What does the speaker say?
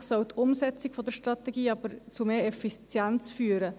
Schlussendlich soll die Umsetzung der Strategie aber zu mehr Effizienz führen.